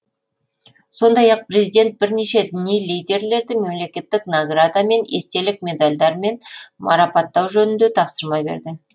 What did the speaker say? сондай ақ президент бірнеше діни лидерлерді мемлекеттік награда мен естелік медальдармен марапаттау жөнінде тапсырма берді